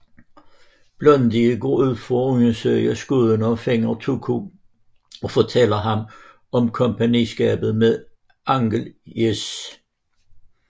Blondie går ud for at undersøge skuddene og finder Tuco og fortæller ham om kompagniskabet med Angel Eyes